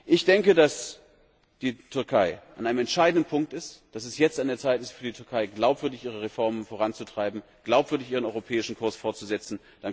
Ich denke, dass die Türkei an einem entscheidenden Punkt ist, dass es jetzt an der Zeit ist für die Türkei, glaubwürdig ihre Reformen voranzutreiben, glaubwürdig ihren europäischen Kurs fortzusetzen.